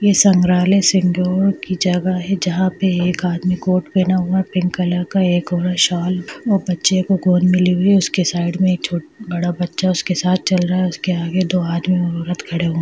ये संग्रहालय की जगह है जहां पर एक आदमी को पहना हुआ है पिंक कलर का एक औरत शॉल और बच्चे को गोद में ली हुई उसके साइड में एक छो बड़ा बच्चा उसके साथ चल रहा है उसके आगे दो आदमी और औरत खड़े हो --